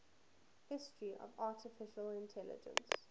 history of artificial intelligence